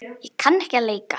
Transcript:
Ég kann ekki að leika.